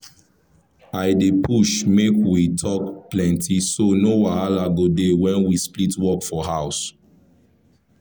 i dey push make we talk plenty so no wahala go dey when we split work for house.